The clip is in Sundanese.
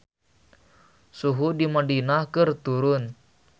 Suhu di Madinah keur turun